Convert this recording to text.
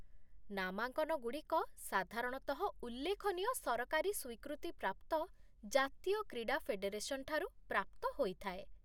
ନାମାଙ୍କନଗୁଡ଼ିକ ସାଧାରଣତଃ ଉଲ୍ଲେଖନୀୟ ସରକାରୀ ସ୍ୱୀକୃତିପ୍ରାପ୍ତ ଜାତୀୟ କ୍ରୀଡ଼ା ଫେଡେରେସନ୍ ଠାରୁ ପ୍ରାପ୍ତ ହୋଇଥାଏ।